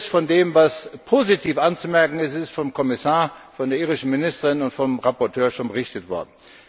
Vieles von dem, was positiv anzumerken ist, ist vom Kommissar, von der irischen Ministerin und vom Berichterstatter schon berichtet worden.